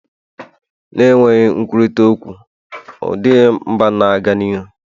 na-enweghị nkwurịta okwu ọ dịghị mba na-aga n'ihu